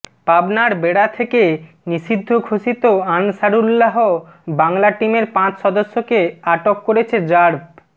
পাবনার বেড়া থেকে নিষিদ্ধ ঘোষিত আনসারুল্লাহ বাংলা টিমের পাঁচ সদস্যকে আটক করেছে র্যাব